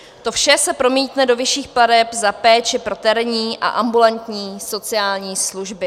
To vše se promítne do vyšších plateb za péči pro terénní a ambulantní sociální služby.